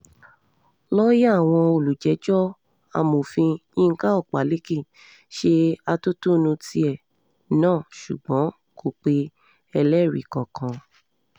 lọ́ọ̀yà àwọn olùjẹ́jọ́ amọfin yinka ọpaléke ṣe atótónu tiẹ̀ náà ṣùgbọ́n kò pe ẹlẹ́rìí kankan